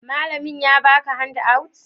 malamin ya baka handout?